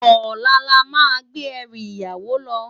Òlá lá má gbé èrú iyàwó lò